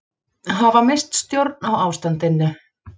Hafa misst stjórn á ástandinu